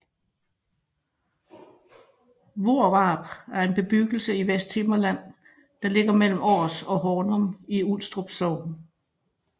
Hvorvarp er en bebyggelse i Vesthimmerland der ligger mellem Aars og Hornum i Ulstrup Sogn